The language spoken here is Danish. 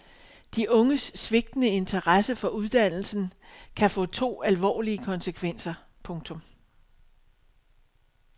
De unges svigtende interesse for uddannelsen kan få to alvorlige konsekvenser. punktum